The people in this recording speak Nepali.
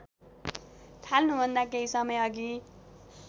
थाल्नुभन्दा केही समयअघि